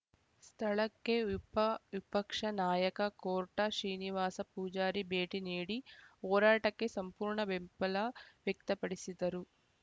ಸ್ಥಳಕ್ಕೆ ವಿಪ ವಿಪಕ್ಷ ನಾಯಕ ಕೋರ್ಟಾ ಶ್ರೀನಿವಾಸ ಪೂಜಾರಿ ಭೇಟಿ ನೀಡಿ ಹೋರಾಟಕ್ಕೆ ಸಂಪೂರ್ಣ ಬೆಂಬಲ ವ್ಯಕ್ತಪಡಿಸಿದರು